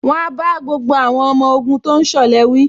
Wọ́n á bá gbogbo àwọn ọmọ ogun tó ń ṣọ̀lẹ wí